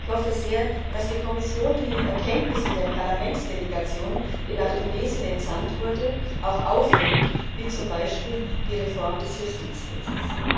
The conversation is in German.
Ich hoffe sehr, dass die Kommission die Anregungen der Parlamentsdelegation, die nach Tunesien entsandt wurde, auch aufnimmt, wie zum Beispiel zur Reform des Justizwesens.